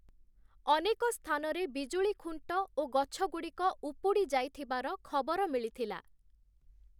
ଅନେକ ସ୍ଥାନରେ ବିଜୁଳି ଖୁଣ୍ଟ ଓ ଗଛଗୁଡ଼ିକ ଉପୁଡ଼ିଯାଇଥିବାର ଖବର ମିଳିଥିଲା ।